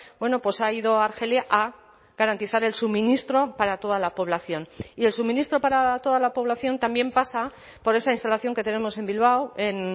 bueno pues ha ido argelia a garantizar el suministro para toda la población y el suministro para toda la población también pasa por esa instalación que tenemos en bilbao en